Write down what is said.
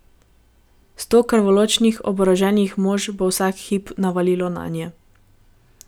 Sto krvoločnih oboroženih mož bo vsak hip navalilo nanje.